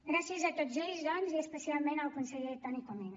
gràcies a tots ells doncs i especialment al conseller toni comín